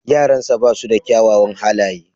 Yaransa ba su da kyawawan halaye.